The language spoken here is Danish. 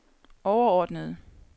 overordnede